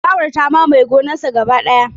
Ciyawar ta mamaye gonarsa gaba daya.